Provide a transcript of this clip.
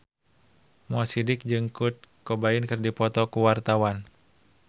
Mo Sidik jeung Kurt Cobain keur dipoto ku wartawan